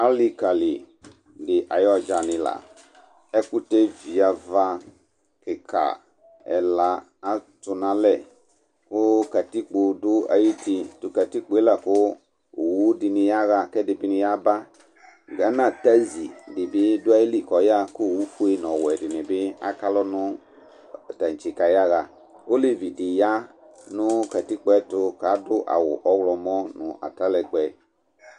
ali kali di ayu ɔdzani ɛkutɛ vi ava, kika ɛla ati nu alɛ ku katikpo du ayi uti, tu katikpoe la ku awu dini ya ba ku ɛdi bi ni yaɣa, gana tasi di bi du ayili ku ayaɣa, ku owu fue nu ɔwɛ dini bi aka alɔ nu tantse ku ayaɣa, olevi di ya nu katikpoe ayɛtu ku adu awu ɔwlɔmɔ nu atalɛgbɛ